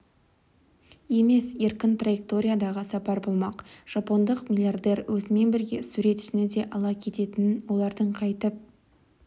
емес еркін траекториядағы сапар болмақ жапондық миллиардер өзімен бірге суретшіні де ала кететінін олардың қайтып